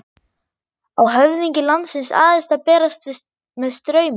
Á höfðingi landsins aðeins að berast með straumi?